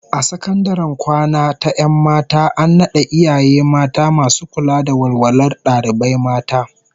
A sakandaren kwana ta 'yan mata an nada iyaye mata masu kula da walwalar dalibai mata